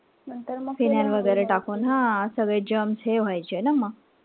phynol वगैरे टाकून हा सगळे germs हे व्हायचे ना मग.